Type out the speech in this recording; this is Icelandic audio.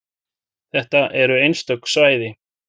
Þetta eru einstök svæði.